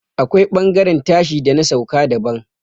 akwai bangaren tashi da na sauka daban